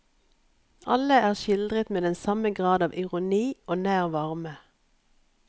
Alle er skildret med den samme grad av ironi og nær varme.